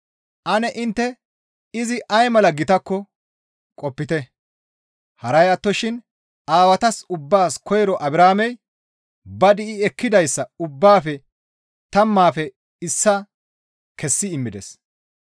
Ane intte izi ay mala gitakko qopite, haray attoshin aawatas ubbaas koyroy Abrahaamey ba di7i ekkida ubbaafe tammaafe issaa kessi immides.